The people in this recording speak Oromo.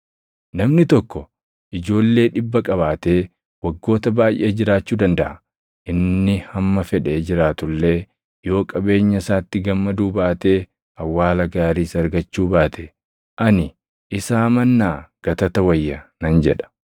Namni tokko ijoollee dhibba qabaatee waggoota baayʼee jiraachuu dandaʼa; inni hamma fedhe jiraatu illee yoo qabeenya isaatti gammaduu baatee awwaala gaariis argachuu baate, ani, “Isaa mannaa gatata wayya” nan jedha.